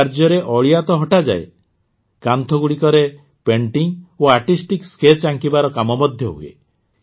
ଏହି କାର୍ଯ୍ୟରେ ଅଳିଆ ତ ହଟାଯାଏ କାନ୍ଥଗୁଡ଼ିକରେ ପେଟିଂ ଓ ଆର୍ଟିଷ୍ଟିକ୍ ସ୍କେଚ୍ ଆଙ୍କିବାର କାମ ମଧ୍ୟ ହୁଏ